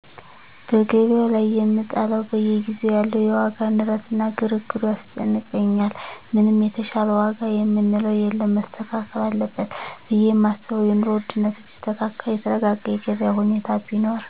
በገቢያዉ ላይ የምጠላዉ በየጊዜዉ ያለዉ የዋጋ ንረት እና ግርግሩ ያስጨንቀኛል ምንም የተሻለ ዋጋ የምንለዉ የለም መስተካከል አለበት ብየ የማስበዉ የኑሮ ዉድነቱ ቢስተካከል የተረጋጋ የገቢያ ሁኔታ ቢኖር